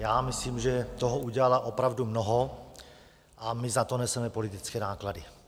Já myslím, že toho udělala opravdu mnoho, a my za to neseme politické náklady.